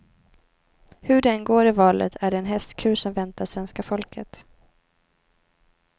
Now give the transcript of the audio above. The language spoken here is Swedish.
Hur det än går i valet är det en hästkur som väntar svenska folket.